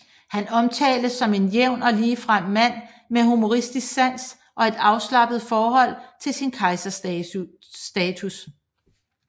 Han omtales som en jævn og ligefrem mand med humoristisk sans og et afslappet forhold til sin kejserstatus